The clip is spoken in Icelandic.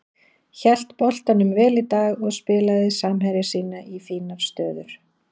Hélt boltanum vel í dag og spilaði samherja sína í fínar stöður.